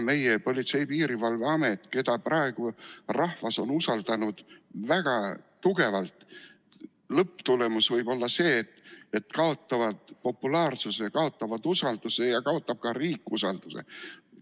Meie Politsei- ja Piirivalveamet, keda praegu on rahvas väga tugevalt usaldanud, võib lõpuks kaotada populaarsuse, kaotada usalduse ja kaotab ka riik usalduse.